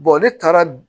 ne taara